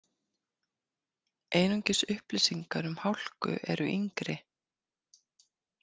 Einungis upplýsingar um hálku eru yngri.